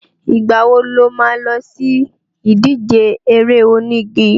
Ìgbà wo lo má lọ sí ìdíje eré onígi?